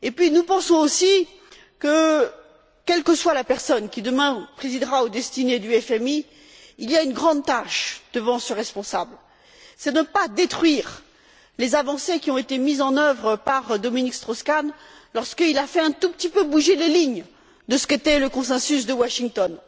Nous pensons aussi que, quelle que soit la personne qui, demain, présidera aux destinées du FMI, une grande tâche attend ce responsable, celle de ne pas détruire les avancées qui ont été mises en œuvre par Dominique Strauss Kahn lorsqu'il a fait un tout petit peu bouger les lignes de ce qu'était le consensus de Washington.